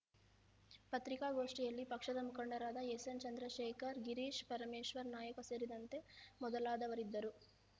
ಪತ್ರಿಕಾಗೋಷ್ಠಿಯಲ್ಲಿ ಪಕ್ಷದ ಮುಖಂಡರಾದ ಎಸ್‌ಎನ್‌ ಚಂದ್ರಶೇಖರ್‌ ಗಿರೀಶ್‌ ಪರಮೇಶ್ವರ ನಾಯಕ್‌ ಸೇರಿದಂತೆ ಮೊದಲಾದವರಿದ್ದರು